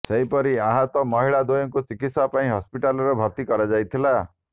ସେହିପରି ଆହତ ମହିଳା ଦ୍ୱୟଙ୍କୁ ଚିକିତ୍ସା ପାଇଁ ହସ୍ପିଟାଲରେ ଭର୍ତି କରଯାଇଥିଲା